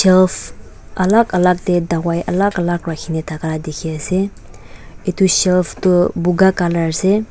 shelf alak alak de dawai alak alak rakhikena daka dekhi ase etu shelf tu puka colour ase.